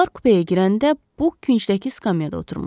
Onlar kupeyə girəndə Buk küncdəki skameada oturmuşdu.